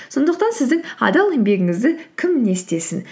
сондықтан сіздің адал еңбегіңізді кім не істесін